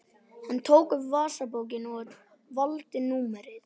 Hann tók upp vasabókina og valdi númerið.